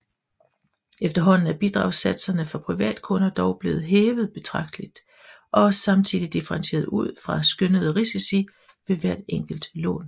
Efterhånden er bidragssatserne for privatkunder dog blivet hævet betragteligt og samtidig differentieret ud fra skønnede risici ved hvert enkelt lån